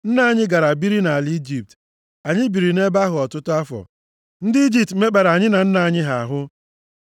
Nna anyị gara biri nʼala Ijipt. Anyị biri nʼebe ahụ ọtụtụ afọ. Ndị Ijipt mekpara anyị na nna nna anyị ha ahụ.